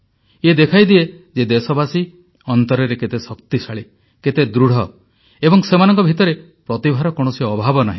ଇଏ ଦେଖାଇଦିଏ ଯେ ଦେଶବାସୀ ଅନ୍ତରରେ କେତେ ଶକ୍ତିଶାଳୀ କେତେ ଦୃଢ଼ ଏବଂ ସେମାନଙ୍କ ଭିତରେ ପ୍ରତିଭାର କୌଣସି ଅଭାବ ନାହିଁ